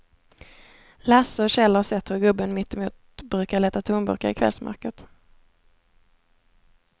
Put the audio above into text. Lasse och Kjell har sett hur gubben mittemot brukar leta tomburkar i kvällsmörkret.